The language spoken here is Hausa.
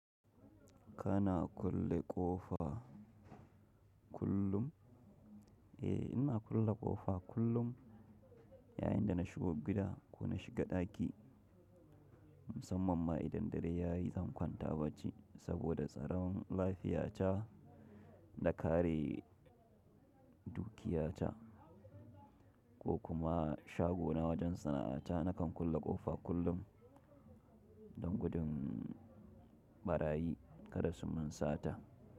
Kana kulle ƙofa kullum? Eh, ina kulle ƙofa kullum yayin da na shigo gida ko na shiga ɗaki. Musamman ma idan dare ya yi, zan kwanta bacci saboda tsaron lafiya ta da kare dukiya ta. Ko kuma shago na wajen sana'a ta, nakan kulle ƙofa kullum don gudun ɓarayi kada su munsata.